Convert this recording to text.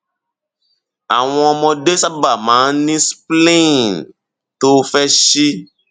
àwọn ọmọdé sábà máa ń ní spleen tó fẹ síi